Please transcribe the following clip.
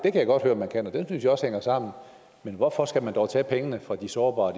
jeg godt høre man kan og den synes jeg også hænger sammen men hvorfor skal man dog tage pengene fra de sårbare